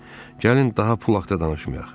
Gəlin, daha pul haqqda danışmayaq.